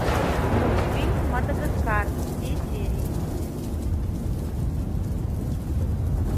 мультфильм мадагаскар все серии